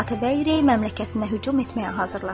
Atabəy Rey məmləkətinə hücum etməyə hazırlaşır.